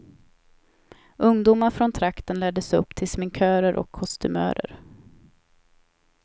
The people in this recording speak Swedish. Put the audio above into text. Ungdomar från trakten lärdes upp till sminkörer och kostymörer.